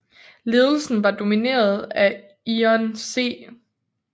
Ledelsen var domineret af Ion C